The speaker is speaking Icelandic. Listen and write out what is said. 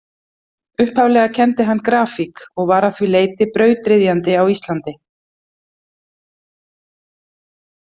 Upphaflega kenndi hann grafík og var að því leyti brautryðjandi á Íslandi.